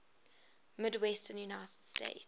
midwestern united states